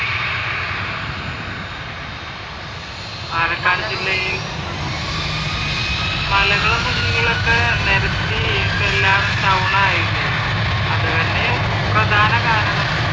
പാലക്കാട് ജില്ലയിൽ മലകളും കുന്നുകളൊക്കെ നിരത്തി ഇപ്പൊ എല്ലാം ടൗൺ ആയില്ലേ അത് തന്നെ പ്രധാന കാരണം